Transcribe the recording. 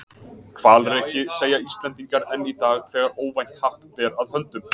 Hvalreki, segja Íslendingar enn í dag, þegar óvænt happ ber að höndum.